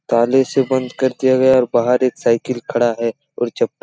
ताले से बंद कर के गया और बहार एक साइकिल खड़ा है और चपल--